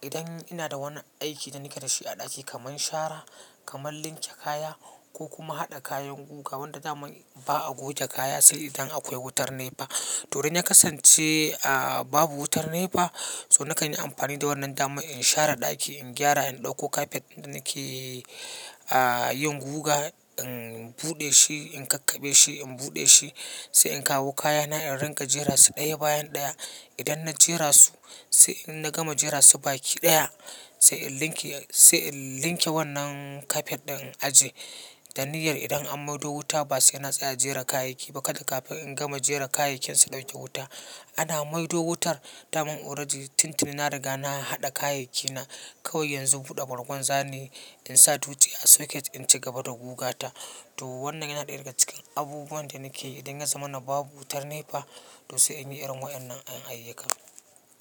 idan ina da wani aiki da nike dashi a ɗaki kamar shara, kamar linke kaya ko kuma haɗa kayan guga wanda zamu ba a goge kaya sai idan akwai wutar NEPA. To dai na kasance, a, babu wutar NEPA, so na kan yi amfani da wannan dama in share ɗaki, in gyara, in ɗauko kafet da nike, a, yin guga, in buɗe shi, in kakkaɓe shi, in buɗe shi, sai in kawo kayana, in riƙa jera su ɗaya bayan ɗaya. Idan na jera su, sai in na gama jera su baki ɗaya, sai in linke, sai in linke wannan kafet ɗin a ji da niyyar idan an maido wuta ba sai na tsaya jera kayayyaki ba kadai kafin in gama jera kayayyakin su ɗauke wuta. Ana maido wutar, dama already tintini na riga na haɗa kayayyaki na. Kawai yanzu buɗe bangon zane in sa dutse a socket in ci gaba da guga ta. To wannan yana ɗaya daga cikin abubuwan da nike idan ya zama na babu wutar NEPA to sai in yi irin wayar nan a yi kam.